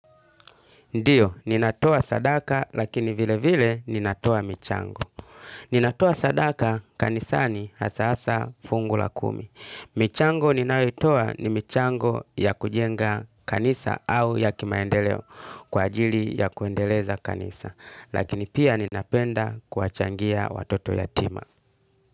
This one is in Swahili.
Ndio, ninatoa sadaka lakini vilevile ninatoa michango. Ninatoa sadaka, kanisani hasa hasa fungu la kumi. Michango ninayoitoa ni michango ya kujenga kanisa au ya kimaendeleo kwa ajili ya kuendeleza kanisa. Lakini pia ninapenda kuwachangia watoto yatima.